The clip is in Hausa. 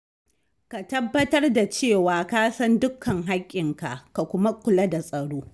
Ka tabbatar da cewa ka san dukkan hakkinka ka kuma kula da tsaro.